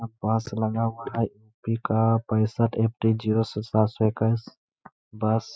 यहाँ पास लगा हुआ है यू.पी. का पैसहट फ डी जीरो से सात सो इक्कीस बस --